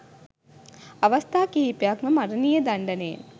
අවස්ථා කිහිපයක්ම මරණීය දණ්ඩනයෙන්